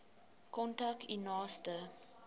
kontak u naaste